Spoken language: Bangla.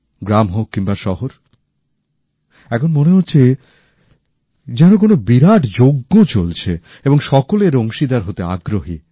গ্রাম হোক কিম্বা শহর এমন মনে হচ্ছে যেন কোন বিরাট যজ্ঞ চলছে এবং সকলে এর অংশীদার হতে আগ্রহী